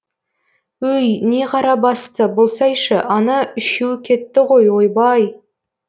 өй не қара басты болсайшы ана үшеуі кетті ғой ойбай